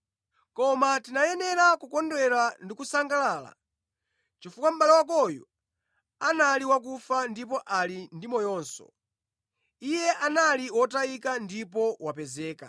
Koma tinayenera kukondwera ndi kusangalala, chifukwa mʼbale wako uyu anali wakufa ndipo ali ndi moyonso; iye anali wotayika ndipo wapezeka.”